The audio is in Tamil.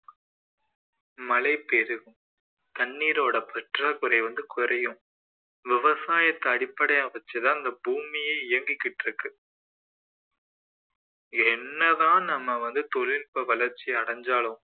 மழை பெருகும் தண்ணீரோட பற்றாக்குறை வந்து குறையும் விவசாயத்தை அடிப்படையாக வச்சு தான் இந்த பூமியே இயங்கிக்கிட்டு இருக்கு என்னதான் நம்ம வந்து தொழில் வளர்ச்சி அடைஞ்சாலும்